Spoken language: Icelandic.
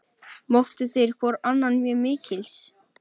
Mátu þeir hvor annan mjög mikils.